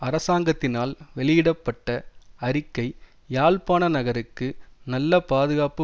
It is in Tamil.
அரசாங்கத்தினால் வெளியிட பட்ட அறிக்கை யாழ்ப்பாண நகருக்கு நல்ல பாதுகாப்பு